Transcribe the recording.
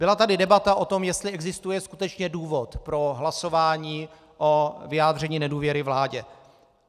Byla tady debata o tom, jestli existuje skutečně důvod pro hlasování o vyjádření nedůvěry vládě.